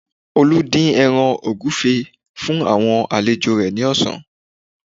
Olú dín ẹran ògúfe fún àwọn alejò rẹ̀ ní ọ̀sán